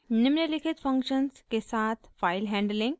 निम्नलिखित फंक्शन्स के साथ फाइल हैंडलिंग: